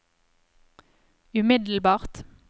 umiddelbart